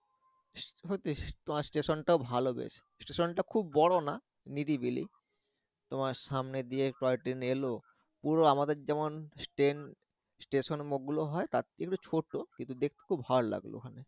হয়তো স্টেশন টা ভালো বেশ স্টেশন টা খুব বড় না নিরিবিলি তোমার সামনে দিয়ে টয় ট্রেন এলো পুরো আমাদের যেমন ট্রেন স্টেশনে হয় তারচেয়ে এগুলো ছোট কিন্তু দেখতে খুব ভালো লাগলো।